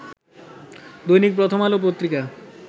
Dainik Prothom Alo Patrika